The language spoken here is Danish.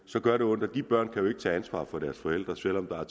så gør det ondt og de børn kan jo ikke tage ansvar for deres forældre selv om der er